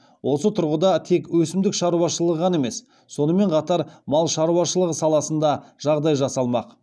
осы тұрғыда тек өсімдік шаруашылығы ғана емес сонымен қатар мал шаруашылығы саласын да жағдай жасалмақ